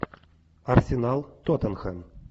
арсенал тоттенхэм